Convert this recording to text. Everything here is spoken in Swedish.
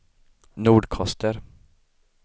Nordkoster